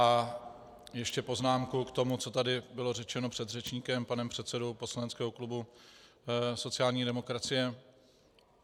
A ještě poznámka k tomu, co tady bylo řečeno předřečníkem, panem předsedou poslaneckého klubu sociální demokracie.